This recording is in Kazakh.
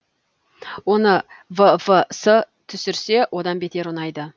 оны ввс түсірсе одан бетер ұнайды